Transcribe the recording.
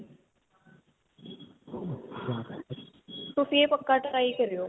ਤੁਸੀਂ ਇਹ ਪੱਕਾ try ਕਰਿਓ.